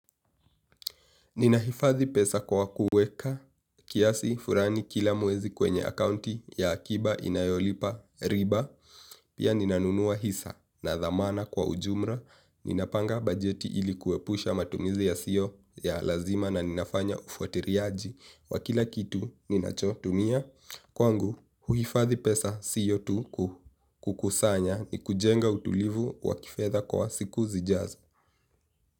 Ninahifadhi pesa kwa kuweka kiasi fulani kila mwezi kwenye akaunti ya akiba inayolipa riba. Pia ninanunua hisa na dhamana kwa ujumla. Ninapanga bajeti ili kuepusha matumizi yasiyo ya lazima na ninafanya ufutiliaji wa kila kitu ninachotumia. Kwangu, huhifadhi pesa sio tu kukusanya ni kujenga utulivu wa kifedha kwa siku zijazo.